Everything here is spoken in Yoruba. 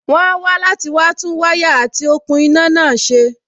wón á wá láti wá tún wáyà àti òkun iná náà ṣe.